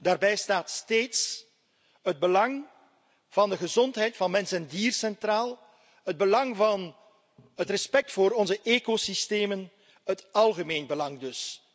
Daarbij staat steeds het belang van de gezondheid van mens en dier centraal, het belang van het respect voor onze ecosystemen, het algemeen belang dus.